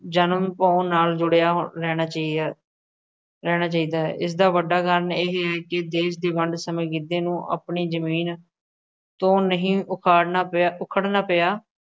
ਜਨਮ ਪਾਉਣ ਨਾਲ ਜੁੜਿਆ ਰਹਿਣਾ ਚਾਹੀਦਾ ਹੈ, ਰਹਿਣਾ ਚਾਹੀਦਾ ਹੈ, ਇਸਦਾ ਵੱਡਾ ਕਾਰਨ ਇਹ ਹੈ ਕਿ ਦੇਸ਼ ਦੀ ਵੰਡ ਸਮੇਂ ਗਿੱਧੇ ਨੂੰ ਆਪਣੀ ਜ਼ਮੀਨ ਤੋਂ ਨਹੀਂ ਉਖਾੜਨਾ ਪਿਆ, ਉਖੜਨਾ ਪਿਆ,